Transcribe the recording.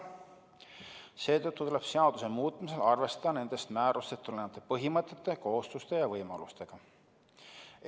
Seetõttu tuleb seaduse muutmisel arvestada nendest määrustest tulenevate põhimõtete, kohustuste ja võimalustega.